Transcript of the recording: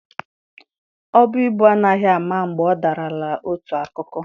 Ọbu ibu anaghị ama mgbe ọ dalara otu akụkụ.